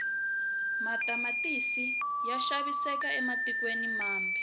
matamatisi ya xaviseka ematikweni mambe